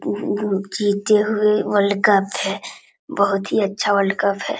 उह-उह जीते हुए world cup है बहुत ही अच्छा वर्ल्ड कप है।